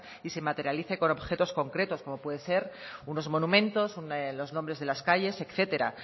y se materialice con objetos concretos como pueden ser unos monumentos los nombres de las calles etcétera